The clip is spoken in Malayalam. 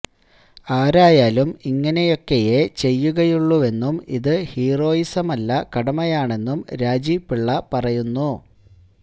ആരായാലും ഇങ്ങനെയൊക്കെയേ ചെയ്യുകയുള്ളൂവെന്നും ഇത് ഹീറോയിസമല്ല കടമയാണെന്നും രാജീവ് പിള്ള പറയുന്നു